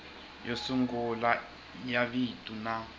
yo sungula ya vito na